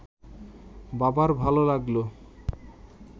বাবার ভাল লাগল